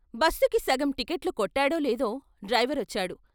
బస్సుకి సగం టిక్కట్లు కొట్టాడో లేదో డ్రైవరొచ్చాడు.